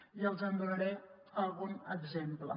i els en donaré algun exemple